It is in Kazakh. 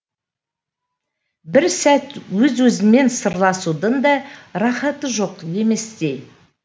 бір сәт өз өзіңмен сырласудың да рахаты жоқ еместей